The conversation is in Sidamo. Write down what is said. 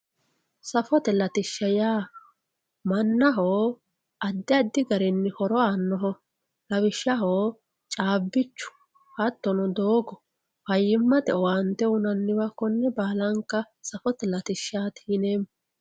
Safote latisha yaa manaho adi adi garini horo aanoho lawishshaho caabichu hatono doogo fayimate owaante uyinaniwa kone baalanka safote latishaati yineemo.